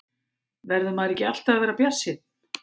Verður maður ekki alltaf að vera bjartsýnn?